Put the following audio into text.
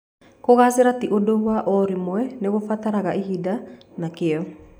Kũgaacĩra ti ũndũ wa o rĩmwe, nĩ kũbataraga ihinda na kĩyo.